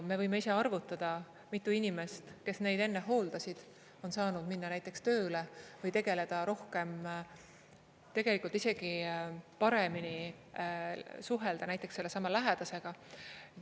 Me võime ise arvutada, mitu inimest, kes neid enne hooldasid, on saanud minna näiteks tööle või tegeleda rohkem, tegelikult isegi paremini suhelda näiteks sellesama lähedasega.